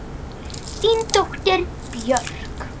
Þín dóttir, Björk.